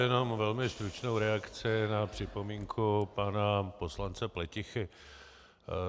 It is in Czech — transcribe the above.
Jenom velmi stručnou reakci na připomínku pana poslance Pletichy.